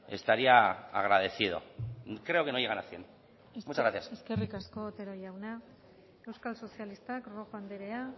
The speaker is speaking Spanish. estaría agradecido creo que no llegan a cien muchas gracias eskerrik asko otero jauna euskal sozialistak rojo anderea